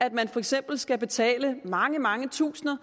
at man for eksempel skal betale mange mange tusinde